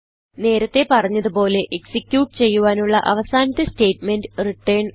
നേരത്തെ പറഞ്ഞത് പോലെ എക്സിക്യൂട്ട് ചെയ്യുവാനുള്ള അവസാനത്തെ സ്റ്റേറ്റ്മെന്റ് റിട്ടർൻ ആണ്